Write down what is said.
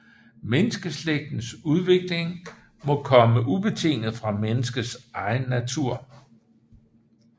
Menneskeslægtens udvikling må komme ubetinget fra menneskets egen natur